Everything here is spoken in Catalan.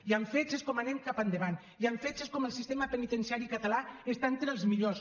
i amb fets és com anem cap endavant i amb fets és com el sistema penitenciari català està entre els millors